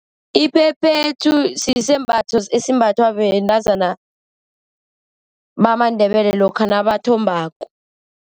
Iphephethu sisembatho esimbathwa bentazana bamaNdebele lokha nabathombako.